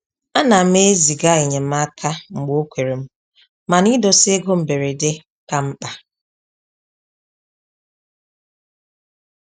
A nam eziga enyemaka mgbe okwerem mana idosa ego mberede ka mkpa